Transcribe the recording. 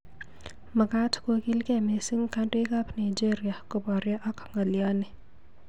Makaaat kokiilgei missing kandoik ab Nigeria koboryo ak ng'alyoni